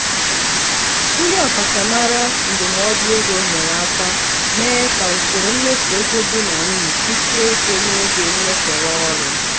ndị ọkachamara ndụmọdụ ego nyere aka mee ka usoro mmefu ego di na nwunye kwụsịe ike n'oge nnyefere ọrụ.